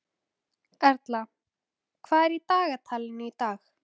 Erla, hvað er í dagatalinu í dag?